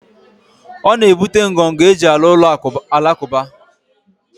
O na ebute ngọngọ eji alu ulo alakuba